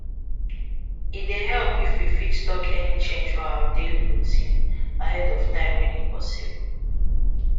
e dey help if we fit talk any change for our daily routine ahead of time when e possible